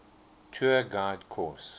tour guide course